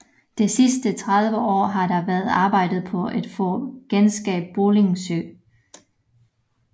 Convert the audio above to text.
De sidste 30 år har der været arbejdet på at få genskabt Bølling Sø